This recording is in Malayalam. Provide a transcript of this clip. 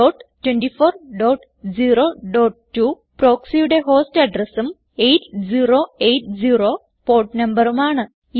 102402 proxyയുടെ ഹോസ്റ്റ് അഡ്രസും 8080 പോർട്ട് നമ്പറുമാണ്